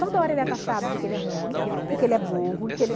Toda hora ele é taxado de que ele é ruim e que ele é burro. E que ele...